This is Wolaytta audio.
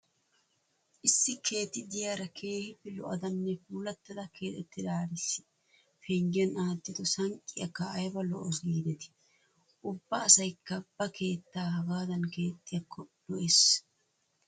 Issi keetta de'iyara keehippe lo'adanne puulattada keexettidaariissi penggiyan aattido sanqqiyakka ayba lo'awusu giidetii! Ubba asaykka ba keettaa hagaadan keexxiyakko lo'ees.